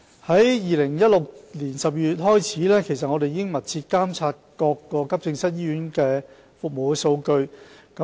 自2016年12月開始，我們已密切監察各急症醫院的服務數據。